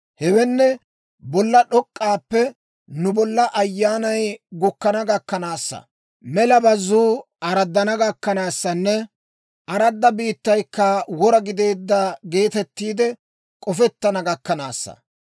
Hewenne, bolla d'ok'k'aappe nu bolla ayyaanay gukkana gakkanaassa, mela bazzuu araddana gakkanaassanne aradda biittaykka wora gideedda geetettiide k'ofettana gakkanaassa.